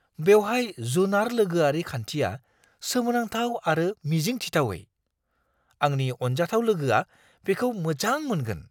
बेवहाय जुनार-लोगोआरि खान्थिया सोमोनांथाव आरो मिजिंथिथावै-आंनि अनजाथाव लोगोआ बेखौ मोजां मोनगोन! "